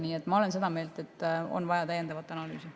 Nii et ma olen seda meelt, et on vaja täiendavat analüüsi.